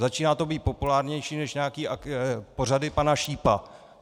Začíná to být populárnější než nějaké pořady pana Šípa.